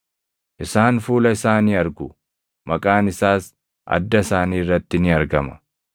Isaan fuula isaa ni argu; maqaan isaas adda isaanii irratti ni argama.